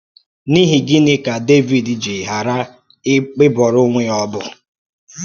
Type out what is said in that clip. N’ihi gịnị ka Dẹvid ji ghara ịbọrọ onwe ya ọbọ?